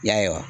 I y'a ye wa